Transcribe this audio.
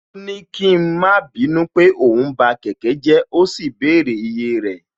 Ó ní kí a má bínú pé òun ba kẹ̀kẹ́ jẹ́ ó sì bẹ̀rẹ̀ iye rẹ̀